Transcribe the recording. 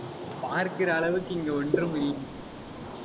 பார்க்கிற அளவுக்கு இங்கு ஒன்றும் இல்~,